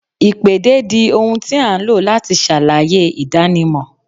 Ìpèdè di ohun tí a ń lo láti ṣàlàyé ìdánimọ̀